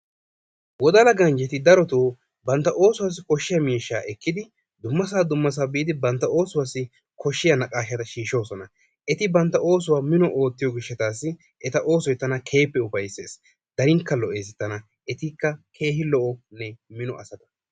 Wodala ganjjeti daroo bantta oosuwaasi kooshshiyaa miishshata ekkidi dummasaa dummasaa biidi bantta ossuwaasi koshshiyaa naaqashshata shiishoosona. Eti bantta oossuwaa mino oottiyoo giishshatassi eta oosoy tana keehippe ufayssees. Darinkka lo"ees tana etikka keehin mino asata.